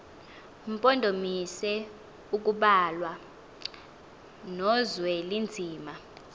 mpondomise kubalwa nozwelinzima